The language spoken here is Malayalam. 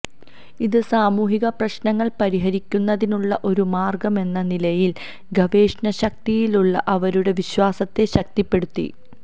ഇത് സാമൂഹിക പ്രശ്നങ്ങൾ പരിഹരിക്കുന്നതിനുള്ള ഒരു മാർഗമെന്ന നിലയിൽ ഗവേഷണശക്തിയിലുള്ള അവരുടെ വിശ്വാസത്തെ ശക്തിപ്പെടുത്തി